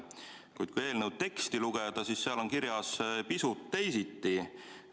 Kuid kui eelnõu teksti lugeda, siis seal on kirjas pisut teisiti.